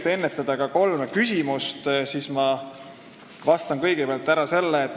Et ennetada küsimusi, vastan ma kõigepealt ära kolmele küsimusele.